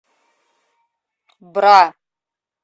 бра